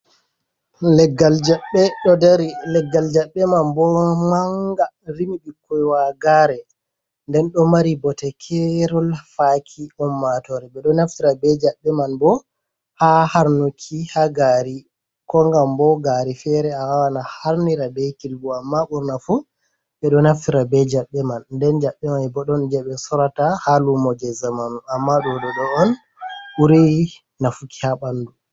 Leggal jaɓɓe ɗo dari, leggal jaɓɓe man bo manga rimi ɓikkoi wagare nden ɗo mari bote kerol faki ummatore, ɓeɗo naftira be jaɓɓe man bo ha harnuki ha gari ko ngam bo gari fere awawan a harnira be kilbu amma ɓurnafu ɓeɗo naftira be jaɓɓe man nden jaɓɓe man bo ɗon je ɓe sorata ha lumo je zaman amma ɗo ɗo ɗo on ɓuri nafuki ha ɓandu.